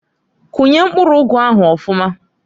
Kunye mpkuru ụgụ ahụ ọfụmaǃ